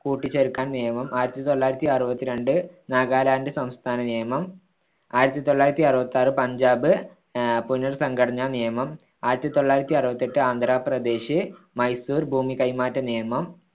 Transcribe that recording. കൂട്ടിച്ചേർക്കാൻ നിയമം ആയിരത്തിതൊള്ളായിരത്തിയാറുപത്തിരണ്ട്‍ നാഗലാന്റ് സംസ്ഥാന നിയമം ആയിരത്തിതൊള്ളായിരത്തിയാറുപ്പത്തിയാർ പഞ്ചാബ് ആഹ് പുനർ‌സംഘടനാ നിയമം ആയിരത്തിതൊള്ളായിരത്തിയാറുപത്തിയെട്ട് ആന്ധ്രപ്രദേശ് മൈസൂർ ഭൂമി കൈമാറ്റ നിയമം